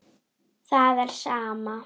Það er sama.